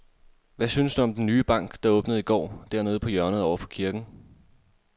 Hvad synes du om den nye bank, der åbnede i går dernede på hjørnet over for kirken?